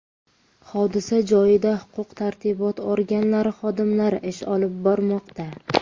Hodisa joyida huquq-tartibot organlari xodimlari ish olib bormoqda.